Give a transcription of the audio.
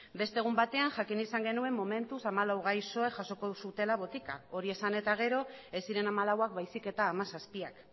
beste egun batean jakin izan genuen momentuz hamalau gaixoek jasoko zutela botika hori esan eta gero ez ziren hamalauak baizik eta hamazazpiak